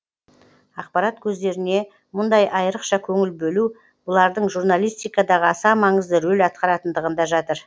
ақпарат көздеріне мұндай айырықша көңіл бөлу бұлардың журналистикадағы аса маңызды рөл атқаратындығында жатыр